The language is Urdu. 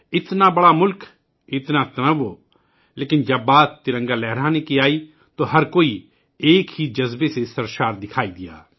اتنا بڑا ملک، اتنے تنوع، لیکن جب ترنگا لہرانے کی بات آئی تو سب ایک ہی جذبے میں بہتے دکھائی دیئے